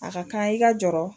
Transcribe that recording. A ka kan i ka jɔrɔ